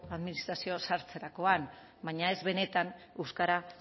administrazioan sartzerakoan baina ez benetan euskara